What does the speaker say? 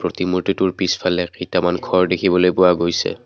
মূৰ্ত্তিটোৰ পিছফালে কিটামান ঘৰ দেখিবলৈ পোৱা গৈছে।